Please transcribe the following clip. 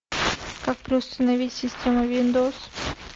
как переустановить систему виндовс